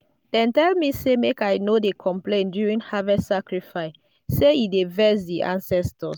dem tell me say make i no dey complain during harvest sacrifice—say e dey vex di ancestors.